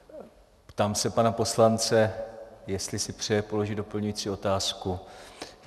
Ptám se pana poslance, jestli si přeje položit doplňující otázku.